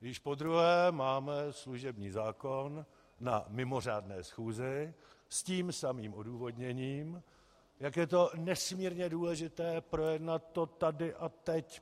Již podruhé máme služební zákon na mimořádné schůzi, s tím samým odůvodněním, jak je to nesmírně důležité, projednat to tady a teď.